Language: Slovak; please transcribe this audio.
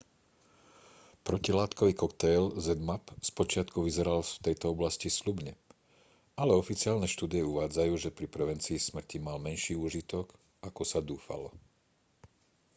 protilátkový koktail zmapp spočiatku vyzeral v tejto oblasti sľubne ale oficiálne štúdie uvádzajú že pri prevencii smrti mal menší úžitok ako sa dúfalo